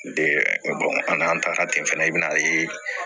an n'an tagara ten fana i bɛn'a ye